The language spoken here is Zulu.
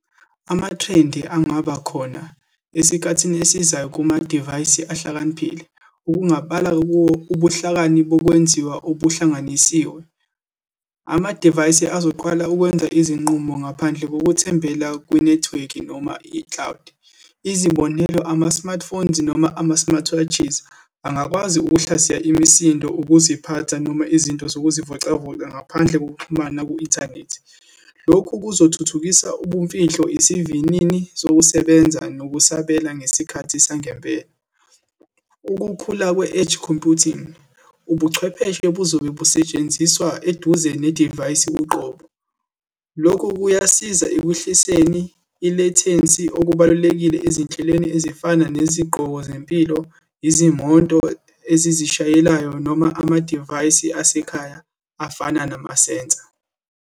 Ama-trend angaba khona esikhathini esizayo kumadivayisi ahlakaniphile, ukungabala kuwo ubuhlakani bokwenziwa obuhlanganisiwe. Amadivayisi azoqala ukwenza izinqumo ngaphandle kokuthembela kwinethiwekhi, noma i-cloud. Izibonelo, ama-smart phones, noma ama-smartwatches, angakwazi ukuhlaziya imisindo, ukuziphatha, noma izinto zokuzivocavoca ngaphandle kokuxhumana ku-inthanethi. Lokhu kuzothuthukisa ubumfihlo, isivinini sokusebenza, nokusabela ngesikhathi sangempela. Ukukhula kwe-edge computing, ubuchwepheshe buzobe busetshenziswa eduze nedivayisi uqobo. Lokhu kuyasiza ekwehliseni i-latency, okubalulekile ezinhlelweni ezifana nezigqoko zempilo, izimoto ezizishayelayo, noma amadivayisi asekhaya afana namasensa.